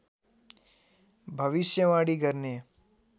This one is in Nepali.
भविष्यवाणी गर्ने